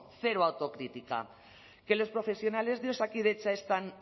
cero autocrítica que los profesionales de osakidetza están